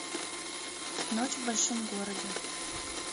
ночь в большом городе